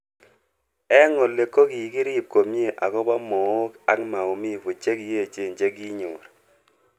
Eng oli ko kikirip komie akopo mook ak maumivu che kiechen che kinyor.